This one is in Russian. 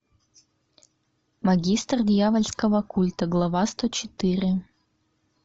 магистр дьявольского культа глава сто четыре